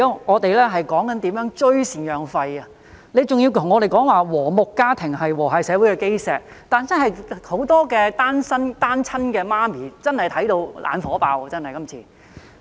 我們現在說的是如何追討贍養費，局長還要跟我們說"和睦家庭是和諧社會的基石"，很多單親媽媽真的看到"眼火爆"。